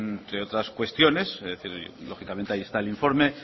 entre otras cuestiones lógicamente ahí está el informe